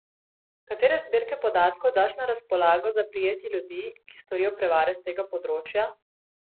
Katere zbirke podatkov daš na razpolago za prijetje ljudi, ki storijo prevare s tega področja?